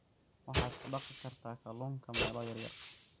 waxaad ku dhaqi kartaa kalluunka meelo yar yar.